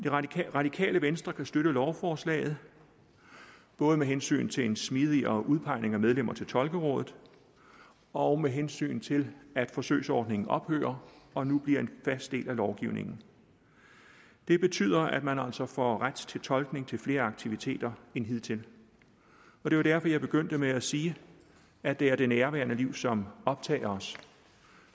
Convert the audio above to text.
radikale venstre kan støtte lovforslaget både med hensyn til en smidigere udpegning af medlemmer til tolkerådet og med hensyn til at forsøgsordningen ophører og nu bliver en fast del af lovgivningen det betyder at man altså får ret til tolkning til flere aktiviteter end hidtil det var derfor jeg begyndte med at sige at det er det nærværende liv som optager os